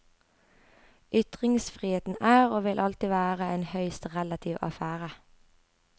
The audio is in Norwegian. Ytringsfriheten er, og vil alltid være, en høyst relativ affære.